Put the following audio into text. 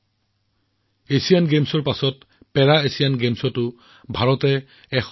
শেহতীয়াকৈ এছিয়ান গেমছৰ পাছত ভাৰতীয় খেলুৱৈসকলেও পেৰা এছিয়ান গেমছত ব্যাপক সফলতা অৰ্জন কৰিছে